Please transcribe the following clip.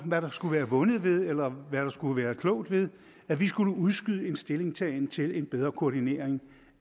hvad der skulle være vundet ved eller hvad der skulle være klogt ved at vi skulle udskyde en stillingtagen til en bedre koordinering